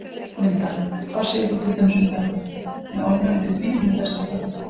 Linda: Hvað segir þú til dæmis með þetta, með ofnæmi fyrir dýrum og þess háttar?